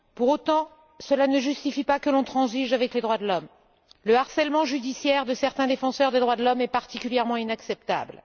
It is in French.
Pour autant, cela ne justifie pas que l'on transige avec les droits de l'homme le harcèlement judiciaire de certains défenseurs des droits de l'homme est particulièrement inacceptable.